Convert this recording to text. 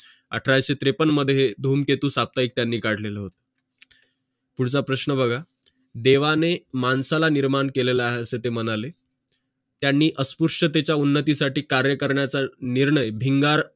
अठराशे त्रेपन्न मध्ये धूमकेतु साप्ताहिक त्यांनी काढलेला होता पुढचा प्रश्न बघा देवाने माणसाला निर्माण केलेला आहे असे ते म्हणाले त्यांनी अस्पृश्यतेच्या उन्नतीसाठी कार्य करण्याचा निर्णय भिंगार